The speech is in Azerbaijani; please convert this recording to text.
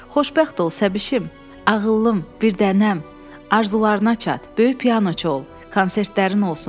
Xoşbəxt ol səbışim, ağıllım, birdənəm, arzularına çat, böyük pianoçu ol, konsertlərin olsun.